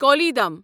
Kollidam